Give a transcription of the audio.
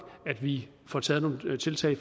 vi får taget nogle tiltag i